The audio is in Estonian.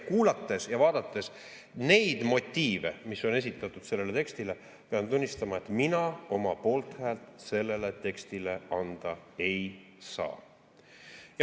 Kuulates ja vaadates neid motiive, mis on esitatud sellele tekstile, pean tunnistama, et mina oma poolthäält sellele tekstile anda ei saa.